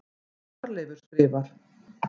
Þorleifur skrifar: